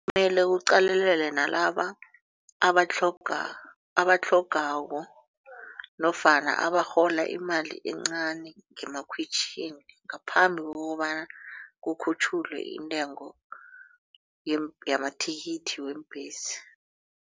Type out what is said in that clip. Mele kuqalelelwe nalaba abatlhogako nofana abarhola imali encani ngemakhwitjhini ngaphambi kokobana kukhutjhulwe intengo yamathikithi weembhesi.